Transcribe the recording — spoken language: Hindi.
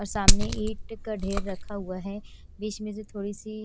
और सामने ईंट का ढेर रखा हुआ है बीच में से थोड़ी सी--